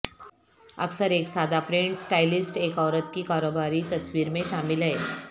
اکثر ایک سادہ پرنٹ سٹائلسٹ ایک عورت کی کاروباری تصویر میں شامل ہیں